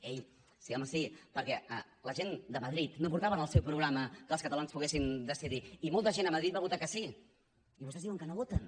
ei sí home sí perquè la gent de madrid no portava al seu programa que els catalans poguessin decidir i molta gent a madrid va votar que sí i vostès diuen que no voten